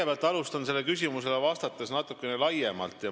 Ma alustan sellele küsimusele vastamist natukene laiemalt.